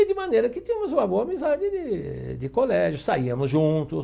E, de maneira que, tínhamos uma boa amizade de de colégio, saíamos juntos.